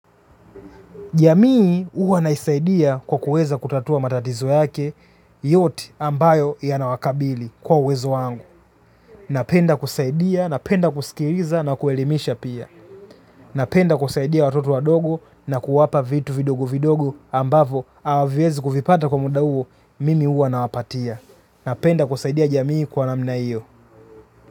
Jamii huwa naisaidia kwa kuweza kutatua matatizo yake, yote ambayo yanawakabili kwa uwezo wangu. Napenda kusaidia, napenda kusikiriza na kuelimisha pia. Napenda kusaidia watoto wadogo na kuwapa vitu vidogo vidogo ambavo hawavyezi kuvipata kwa muda huo, mimi huwa na wapatia. Napenda kusaidia jamii kwa namna hiyo.